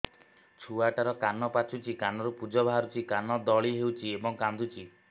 ଛୁଆ ଟା ର କାନ ପାଚୁଛି କାନରୁ ପୂଜ ବାହାରୁଛି କାନ ଦଳି ହେଉଛି ଏବଂ କାନ୍ଦୁଚି